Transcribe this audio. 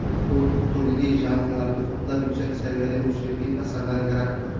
U turli janrlarda ko‘plab yuksak saviyali musiqiy asarlar yaratdi.